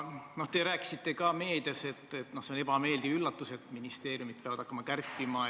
Te rääkisite ka meedias, et on ebameeldiv üllatus, et ministeeriumid peavad hakkama kärpima.